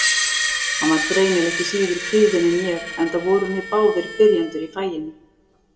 Hann var greinilega ekki síður kvíðinn en ég, enda vorum við báðir byrjendur í faginu.